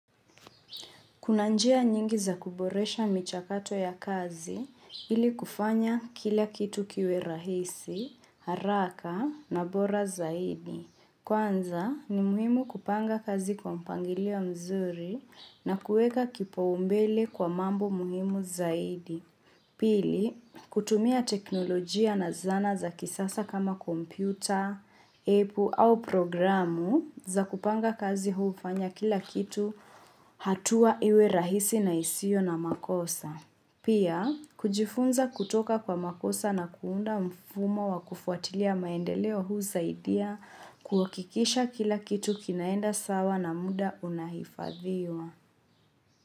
Kuna njia nyingi za kuboresha michakato ya kazi ili kufanya kila kitu kiwe rahisi, haraka na bora zaidi. Kwanza ni muhimu kupanga kazi kwa mpangilio mzuri na kuweka kipaumbele kwa mambo muhimu zaidi. Pili, kutumia teknolojia na zana za kisasa kama kompyuta, apu au programu za kupanga kazi huufanya kila kitu hatua iwe rahisi na isio na makosa. Pia, kujifunza kutoka kwa makosa na kuunda mfumo wa kufuatilia maendeleo husaidia kuakikisha kila kitu kinaenda sawa na muda unahifadhiwa.